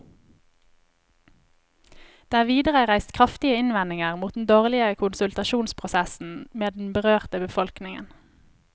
Det er videre reist kraftige innvendinger mot den dårlige konsultasjonsprosessen med den berørte befolkningen.